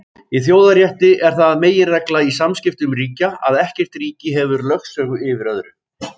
Í þjóðarétti er það meginregla í samskiptum ríkja að ekkert ríki hefur lögsögu yfir öðru.